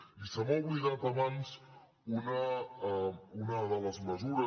i se m’ha oblidat abans una de les mesures